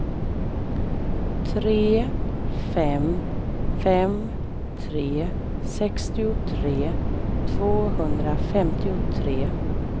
tre fem fem tre sextiotre tvåhundrafemtiotre